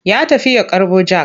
Ya tafi ya karɓo jak.